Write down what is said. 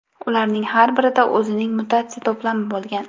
Ularning har birida o‘zining mutatsiya to‘plami bo‘lgan.